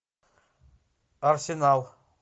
арсенал